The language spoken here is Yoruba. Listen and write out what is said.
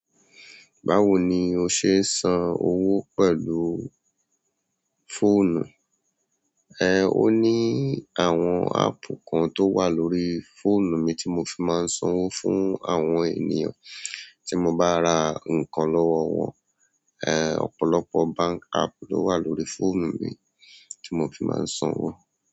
Báwo ni o ṣe ń san owó pẹ̀lú fóònù? Ẹ̀ẹ̀, ó ní àwọn ápp kan tó wà lórí fóònù mi tí mo fi máa ń san owó fún àwọn ènìyàn tí mo bá ra nǹkan lọ́wọ́ wọn. Ẹ̀ẹ̀, ọ̀pọ̀lọpọ̀ báǹk ápp ló wà lórí fóònù mi tí mo fi máa ń san owó.